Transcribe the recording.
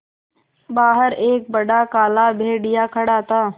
बाहर एक बड़ा काला भेड़िया खड़ा था